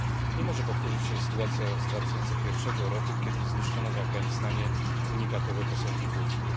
Nie może powtórzyć się sytuacja z 2001 roku, kiedy zniszczono w Afganistanie unikatowe posągi Buddy.